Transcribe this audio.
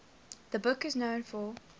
the book is known for